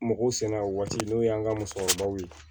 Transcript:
Mɔgɔw sɛnɛ o waati n'o y'an ka musokɔrɔbaw ye